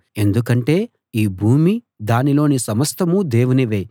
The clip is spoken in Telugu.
ఎందుకంటే ఈ భూమీ దానిలోని సమస్తమూ దేవునివే